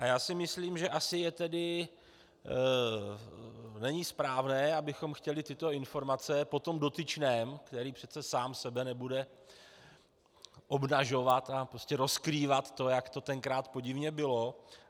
A já si myslím, že asi není správné, abychom chtěli tyto informace po tom dotyčném, který přece sám sebe nebude obnažovat a prostě rozkrývat to, jak to tenkrát podivně bylo.